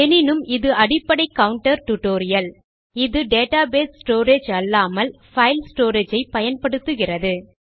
எனினும் இது அடிப்படை கவுண்டர் tutorial160 இது database ஸ்டோரேஜ் அல்லாமல் file ஸ்டோரேஜ் ஐ பயன்படுத்துகிறது